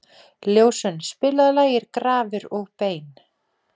Ljósunn, spilaðu lagið „Grafir og bein“.